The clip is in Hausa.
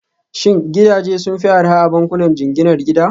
Shin gidaje sun fi arha a bankunan jinginar gida?